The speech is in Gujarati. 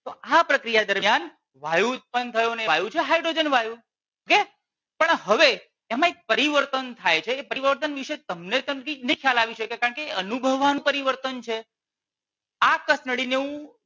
તો આ પ્રક્રિયા દરમિયાન વાયુ ઉત્પન્ન થયો ને વાયુ છે હાઇડ્રોજન વાયુ okay પણ હવે એમાં એક પરિવર્તન થાય છે એ પરિવર્તન વિષે તમને નહીં ખ્યાલ આવી શકે કારણકે એ અનુભવન પરિવર્તન છે આ કસનળી ને હું